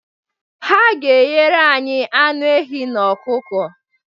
Ha ga-eghere anyị anụ ehi na ọkụkọ.